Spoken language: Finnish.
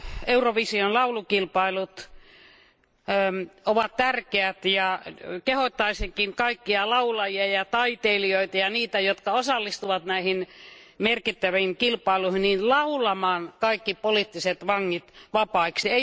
Eurovision laulukilpailut ovat tärkeät, ja kehottaisinkin kaikkia laulajia ja taiteilijoita ja niitä, jotka osallistuvat näihin merkittäviin kilpailuihin, laulamaan kaikki poliittiset vangit vapaiksi.